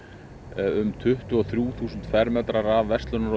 um tuttugu og þrjú þúsund fermetrar af verslunar og